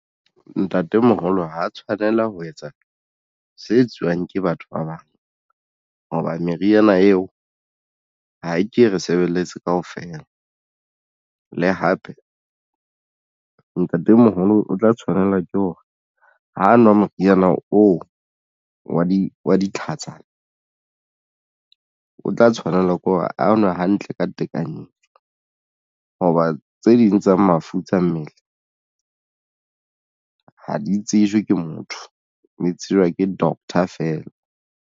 Ntatemoholo ha tshwanela ho etsa se etsuwang ke batho ba bang hoba meriana eo ha ke re sebeletse kaofela le hape ntatemoholo o tla tshwanela ke hore ho nwa moriana oo wa di wa ditlhatsana o tla tshwanela ke hore a nwe hantle ntle ka tekanyetso, hoba tse ding tsa mafu tsa mmele ha di tsejwe ke motho mme tsejwa ke doctor feela.